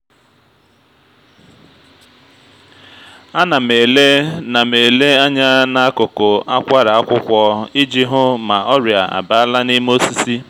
a na m ele na m ele anya n’akụkụ akwara akwụkwọ iji hụ ma ọrịa abala n’ime osisi